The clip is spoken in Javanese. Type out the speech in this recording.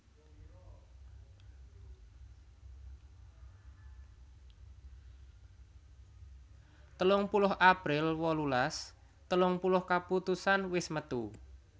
telung puluh april wolulas telung puluh kaputusan wis metu